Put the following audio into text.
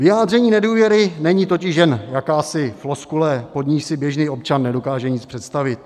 Vyjádření nedůvěry není totiž jen jakási floskule, pod níž si běžný občan nedokáže nic představit.